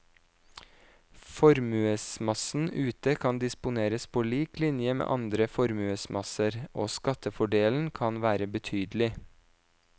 Formuesmassen ute kan disponeres på lik linje med andre formuesmasser, og skattefordelen kan være betydelig.